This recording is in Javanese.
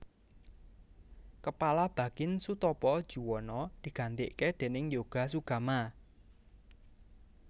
Kepala Bakin Soetopo Juwono digantike déning Yoga Sugama